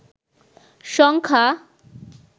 সংখ্যা